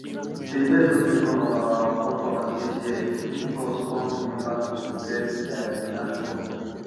dey birds no gree come our our compound dis year e make us come remember to bless dey land first